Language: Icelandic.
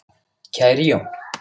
Kæri Jón.